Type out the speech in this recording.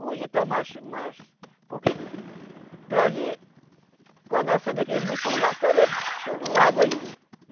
Hoje está mais mais... Porque... Para ali... Quando acende aquele motor lá, clareia todo o lago aí, né?